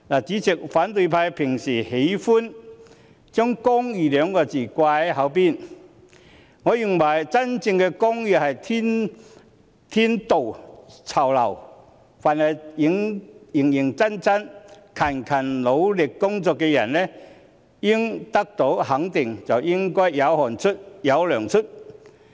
主席，反對派平時喜歡將"公義"二字放在嘴邊，我認為真正的公義是天道酬勤，凡是認真和辛勤努力工作的人都應得到肯定，應該是"有汗出便有糧出"。